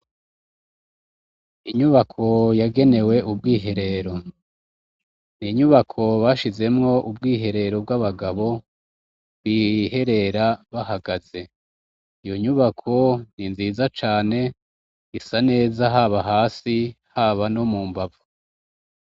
Inyubako yagenewe ubwiherero n'inyubako bashizemwo ubwiherero bw'abagabo biherera bahagaze iyo nyubako n'inziza cane isa neza haba hasi haba no mu mbavu.